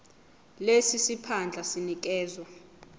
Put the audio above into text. lesi siphandla sinikezwa